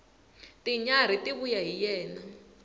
tinyarhi ti vuya hi yena